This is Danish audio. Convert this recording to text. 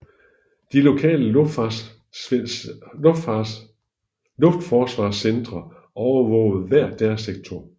De lokale luftforsvarscentre overvågede hver deres sektor